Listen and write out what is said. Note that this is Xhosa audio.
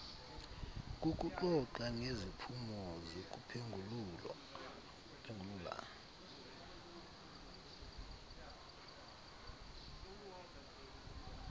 kukuxoxa ngeziphumo zokuphengulula